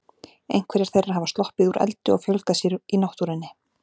Einhverjar þeirra hafa sloppið úr eldi og fjölgað sér í náttúrunni.